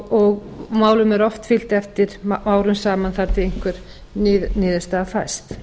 og málum er oft fylgt eftir árum saman þar til einhvern niðurstaða fæst